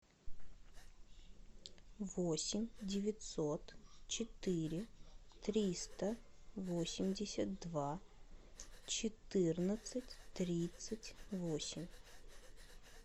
восемь девятьсот четыре триста восемьдесят два четырнадцать тридцать восемь